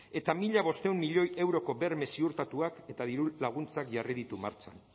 eta mila bostehun milioi euroko berme ziurtatuak eta dirulaguntzak jarri ditu martxan